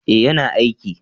eh ya na aiki